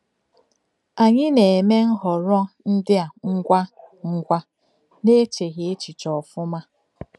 Anyị na-eme nhọrọ ndị a ngwa ngwa, n’echeghị echiche ọfụma.